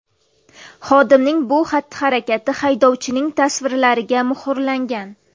Xodimning bu xatti-harakati haydovchining tasvirlariga muhrlangan.